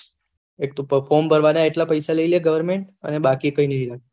એક તો ફોર્મ ભરવાના એટલા પેસા લઇ લે government અને બાકી કઈ નહી લે